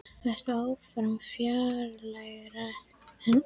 Vertu áfram fjarlægari en allt fjarlægt.